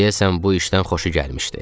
Deyəsən bu işdən xoşu gəlmişdi.